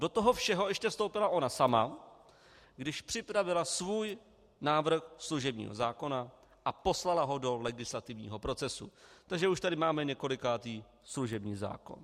Do toho všeho ještě vstoupila ona sama, když připravila svůj návrh služebního zákona a poslala ho do legislativního procesu, takže už tady máme několikátý služební zákon.